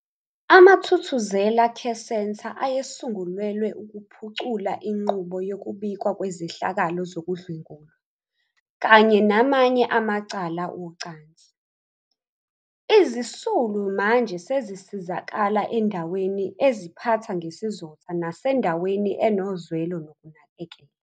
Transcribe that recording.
AmaThuthuzela Care Centre ayesungulelwe ukuphucula inqubo yokubikwa kwezehlakalo zokudlwengulwa kanye namanye amacala ocansi. Izisulu manje sezisizakala endaweni eziphatha ngesizotha nasendaweni enozwelo nokunakekela.